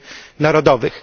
międzynarodowych,